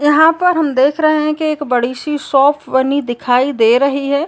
यहाँ पर हम देख रहे हैं कि एक बड़ी सी शॉप बनी दिखाई दे रही है।